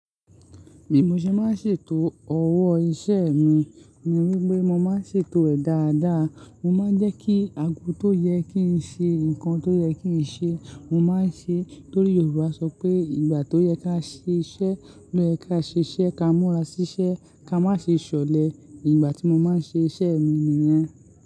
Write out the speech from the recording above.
Bi mo ṣe máa ń ṣètò ọwọ́ iṣẹ́ mi ni wípé mo máa ń ṣètò ẹ̀ dáadáa. Mo máa ń jẹ́ kí ago tó yẹ kí ń ṣe, ǹkan tó yẹ kí ń ṣe, mo máa ń ṣe. Nítorí Yorùbá sọ pé ìgbà tó yẹ ká ṣe iṣẹ́, ló yẹ ká ṣe iṣẹ́. Ka mura sísẹ́, ka má ṣe ṣọ̀lẹ. Ìgbà tí mo máa ń ṣe iṣẹ́ mi nìyẹn.